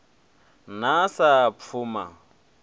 na sa pfuma ni ḓo